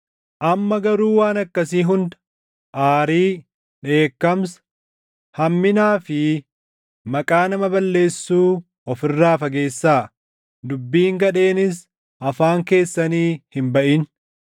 Amma garuu waan akkasii hunda: aarii, dheekkamsa, hamminaa fi maqaa nama balleessuu of irraa fageessaa; dubbiin gadheenis afaan keessanii hin baʼin.